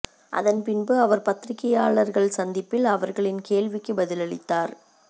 அதன் பின்பு அவர் பத்திரிகையாளர்கள் சந்திப்பில் அவர்களின் கேள்விக்கு பதிலளித்தார்